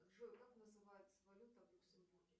джой как называется валюта в люксембурге